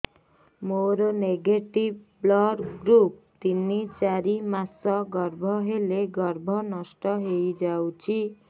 ମୋର negative blood group ତିନ ଚାରି ମାସ ଗର୍ଭ ହେଲେ ଗର୍ଭ ନଷ୍ଟ ହେଇଯାଉଛି